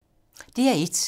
DR1